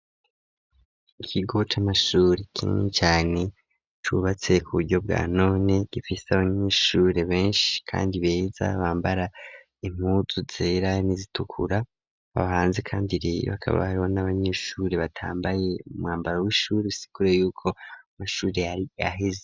Ikigo c' amashuri kinini cane, cubatse ku buryo bwa none ,gifise abanyeshuri benshi kandi beza, bambara impuzu zera, n'izitukura, abahanze kandi rero hakaba n'abanyeshuri batambaye umwambaro w'ishuri, bisigura y'uko mashuri yari aheze.